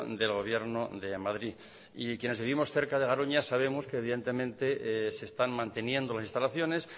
del gobierno de madrid y quienes vivimos cerca de garoña sabemos que evidentemente se están manteniendo las instalaciones